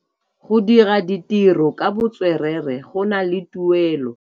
Go dira ditirô ka botswerere go na le tuelô.